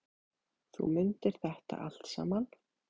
Þú mundir þetta allt saman.